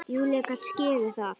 Júlía gat skilið það.